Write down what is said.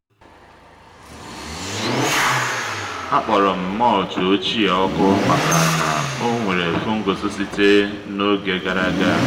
a kpọrọ m mulch ochie ọkụ maka na o nwere fungus site n’oge gara aga